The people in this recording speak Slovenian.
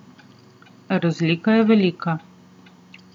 Razlika je velika.